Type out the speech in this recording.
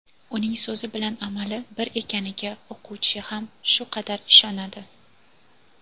uning so‘zi bilan amali bir ekaniga o‘quvchi ham shu qadar ishonadi.